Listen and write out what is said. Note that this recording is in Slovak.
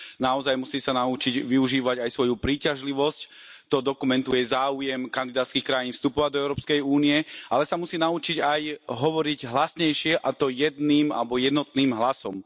Naozaj sa musí naučiť využívať aj svoju príťažlivosť, to dokumentuje záujem kandidátskych krajín vstupu do Európskej únie, ale musí sa naučiť aj hovoriť hlasnejšie, a to jedným alebo jednotným hlasom.